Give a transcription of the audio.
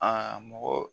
Aa mɔgɔ